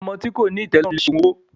Ọmọ tí kòní ìtẹ́lọ́rùn lese òògùn owó.